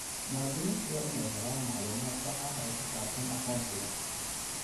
Muwaadiniintu waa inay helaan macluumaad sax ah oo ku saabsan aqoonsiga.